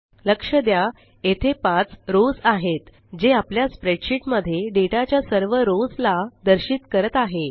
लक्ष द्या येथे 5 रोस आहेत जे आपल्या स्प्रेडशीट मध्ये डेटा च्या सर्व रोस ला दर्शित करत आहे